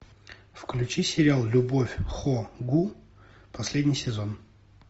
включи сериал любовь хо гу последний сезон